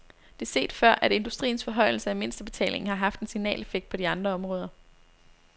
Det er set før, at industriens forhøjelse af mindstebetalingen har haft en signaleffekt på de andre områder.